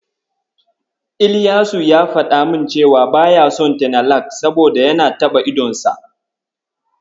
Ilyasu ya faɗa min cewa baya son tenalak, saboda yana taɓa idanunsa.